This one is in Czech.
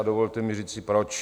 A dovolte mi říci proč.